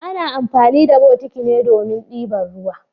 Ana amfani da botiki ne domin dibar ruwa.